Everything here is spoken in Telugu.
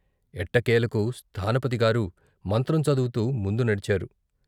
ఎట్టకేలకు స్థానపతిగారు మంత్రం చదువుతూ ముందు నడిచారు.